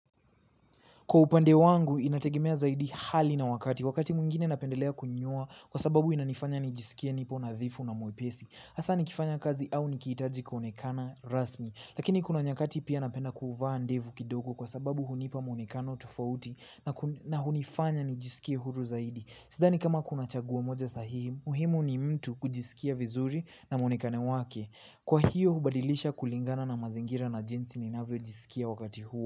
Kwa upande wangu, inategemea zaidi hali na wakati. Wakati mwingine napendelea kunyoa kwa sababu inanifanya nijisikie nipo nadhifu na mwepesi hasa nikifanya kazi au nikihitaji kuonekana rasmi. Lakini kuna nyakati pia napenda kuvaa ndevu kidogo kwa sababu hunipa mwonekano tofauti na hunifanya nijisikie huru zaidi. Sidhani kama kuna chaguo moja sahihi, muhimu ni mtu kujisikia vizuri na mwonekano wake. Kwa hiyo, hubadilisha kulingana na mazingira na jinsi ninavyojisikia wakati huo.